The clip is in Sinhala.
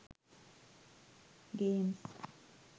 games